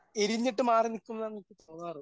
എരിഞ്ഞിട്ട് മാറി നിക്കുംന്നാണ് എനിക്ക് തോന്നാറ്.